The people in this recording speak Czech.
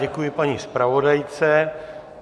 Děkuji paní zpravodajce.